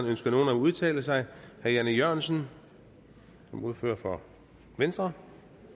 ønsker nogen at udtale sig herre jan e jørgensen som ordfører for venstre